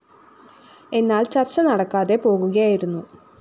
എന്നാല്‍ ചര്‍ച്ച നടക്കാതെ പോകുകയായിരുന്നു